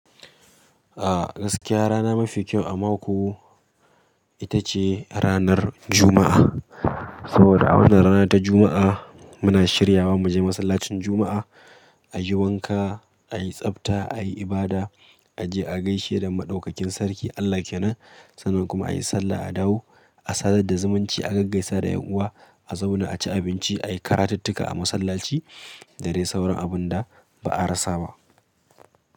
A gaskiya rana mafi kyau a mako ita ce ranar Juma'a. Saboda a wannan rana ta Juma’a, muna shiryawa muje masallacin Juma’a, ayi wanka ai tsafta ayi ibada, aje agaisheda madaukakin sarki Allah kenam. Sannan ai sallah a dawo, a sadar da zumunci a gaggaisa da yan uwa a zauna a ci abinci, a yi karatittuka a masallaci da dai sauran abun da ba'a rasa ba.